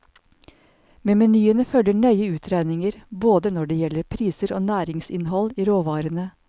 Med menyene følger nøye utregninger både når det gjelder priser og næringsinnhold i råvarene.